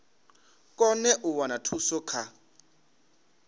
kone u wana thuso kha